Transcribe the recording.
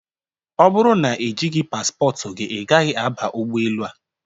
Ọ bụrụ na e jighị paspọtụ gị, ị gaghị aba ụgbọelu a!